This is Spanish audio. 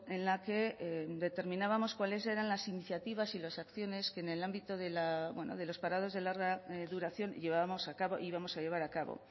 en la que determinábamos cuales eran las iniciativas y las acciones que en el ámbito de los parados de larga duración llevábamos a cabo y vamos a llevar a cabo